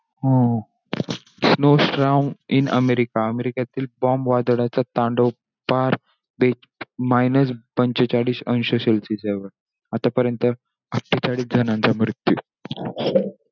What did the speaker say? हो हो! Snow storm in America. अमेरिकेतील bomb वादळाचा तांडव पार minus पंचेचाळीस अंश celcius. आतापर्यंत पंचेचाळीस जणांचा मृत्यू.